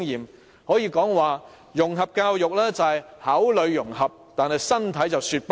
我可以說，融合教育只是口裏融合，但身體卻在說不。